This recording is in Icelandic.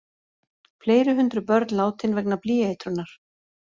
Fleiri hundruð börn látin vegna blýeitrunar